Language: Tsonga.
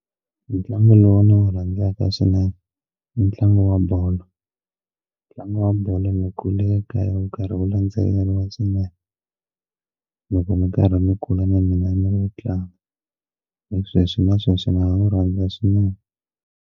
Ntlangu lowu ndzi wu rhandzaka swinene i ntlangu wa bolo ntlangu wa bolo mi kule ka yo karhi wu landzeleriwa swinene loko mi karhi ni kula na mina ni wu tlanga na sweswi na sweswo ni a n'wi rhandza swinene.